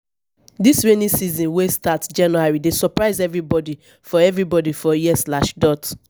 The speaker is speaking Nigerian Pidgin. dis rainy season wey start january dey surprise everybodi for everybodi for here.